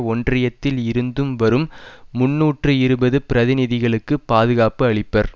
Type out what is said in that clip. ஒன்றியத்தில் இருந்தும் வரும் முன்னூற்று இருபது பிரதிநிதிகளுக்கு பாதுகாப்பு அளிப்பர்